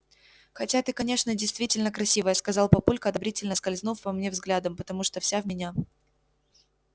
хотя ты конечно действительно красивая сказал папулька одобрительно скользнув по мне взглядом потому что вся в меня